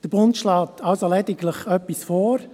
» Der Bund schlägt also lediglich etwas vor.